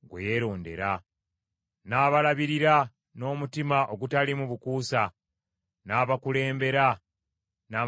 N’abalabirira n’omutima ogutaliimu bukuusa, n’abakulembera n’amagezi g’emikono gye.